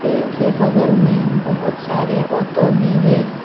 पेड़ के बगल में बहुत सारे ऑटो भी है।